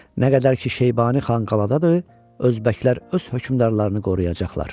Nə qədər ki Şeybani xan qadadır, özbəklər öz hökmdarlarını qoruyacaqlar.